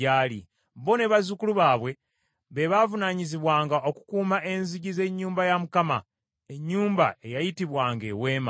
Bo ne bazzukulu baabwe, be baavunaanyizibwanga okukuuma enzigi z’ennyumba ya Mukama , ennyumba eyayitibwanga Eweema.